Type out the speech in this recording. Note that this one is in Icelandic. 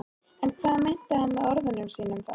En hvað meinti hann með orðum sínum þá?